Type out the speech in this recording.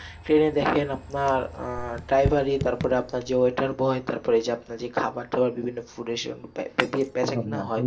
Train এ দেখেন আপনার আহ driver ই, তারপরে আপনার যে waiter boy তারপরে যে আপনার যে খাবার দেওয়ার বিভিন্ন food packet নেওয়া হয়।